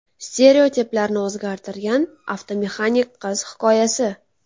Stereotiplarni o‘zgartirgan avtomexanik qiz hikoyasi .